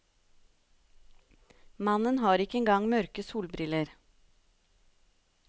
Mannen har ikke engang mørke solbriller.